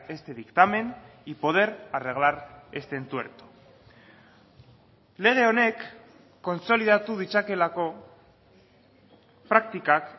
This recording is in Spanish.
este dictamen y poder arreglar este entuerto lege honek kontsolidatu ditzakeelako praktikak